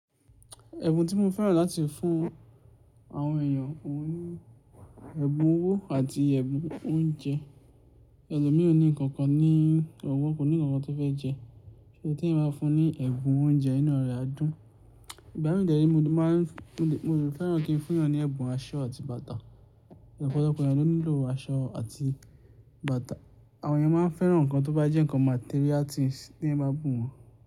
Ẹ̀bùn tí mo fẹ́ràn láti fún àwọn èèyàn òun ní, ẹ̀bùn owó àti ẹ̀bùn oúnjẹ. Ẹlòmíì ò ní ǹkankan ní ọ̀wọ́, kò ní ǹkankan tó fẹ́ jẹ, ṣo, tí eeyan bá fún un ní ẹ̀bùn oúnjẹ inu rẹ̀ á dún. Ìgbá mi dẹ́ ree, mo de máa ń fún, mo de fẹ́ràn kí n fún èèyàn ní ẹ̀bùn aṣọ àti bàtà. Ọ̀pọ̀lọpọ̀ èèyàn ló nílò aṣọ àti bàtà. Àwọn èèyàn máa ń fẹ́ràn ǹkan tó bá jẹ́ ǹkan material things tí eeyan bá bùn wọ́n.